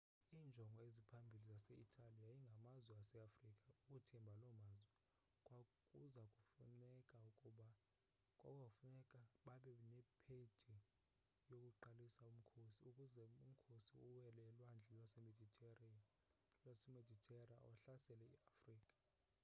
iinjongo eziphambili zase-itali yayingamazwe aseafrika ukuthimba loo mazwe kwakuza kufuneka babe nephedi yokuqalisa umkhosi ukuze umkhosi uwele ulwandle lwemeditera uhlasele iafrika